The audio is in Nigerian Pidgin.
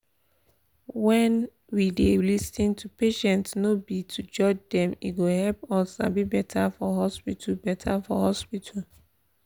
wen we dey lis ten to patients no be to judge dem e go help us sabi better for hospital. better for hospital.